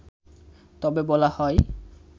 তবে বলা হয়